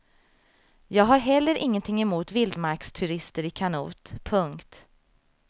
Jag har heller ingenting emot vildmarksturister i kanot. punkt